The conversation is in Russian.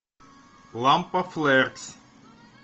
лампа флекс